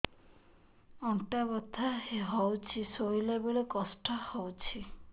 ଅଣ୍ଟା ବଥା ହଉଛି ଶୋଇଲା ବେଳେ କଷ୍ଟ ହଉଛି